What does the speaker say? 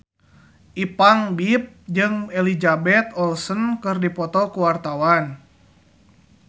Ipank BIP jeung Elizabeth Olsen keur dipoto ku wartawan